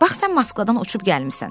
Bax sən Moskvadan uçub gəlmisən.